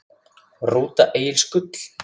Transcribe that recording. Rúta Egils Gull